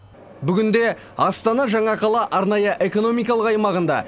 бүгінде астана жаңа қала арнайы экономикалық аймағында